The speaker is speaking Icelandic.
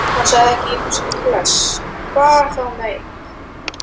Við vildum ólmir fara með honum en hann þráaðist við.